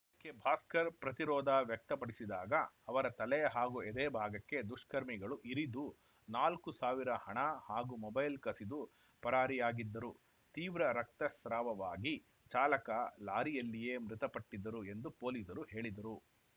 ಇದಕ್ಕೆ ಭಾಸ್ಕರ್‌ ಪ್ರತಿರೋಧ ವ್ಯಕ್ತಪಡಿಸಿದಾಗ ಅವರ ತಲೆ ಹಾಗೂ ಎದೆಯ ಭಾಗಕ್ಕೆ ದುಷ್ಕರ್ಮಿಗಳು ಇರಿದು ನಾಲ್ಕು ಸಾವಿರ ಹಣ ಹಾಗೂ ಮೊಬೈಲ್‌ ಕಸಿದು ಪರಾರಿಯಾಗಿದ್ದರು ತೀವ್ರ ರಕ್ತಸ್ರಾವವಾಗಿ ಚಾಲಕ ಲಾರಿಯಲ್ಲಿಯೇ ಮೃತಪಟ್ಟಿದ್ದರು ಎಂದು ಪೊಲೀಸರು ಹೇಳಿದರು